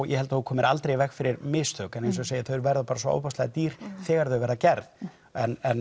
ég held þú komir aldrei í veg fyrir mistök en þau verða bara svo ofboðslega dýr þegar þau verða gerð en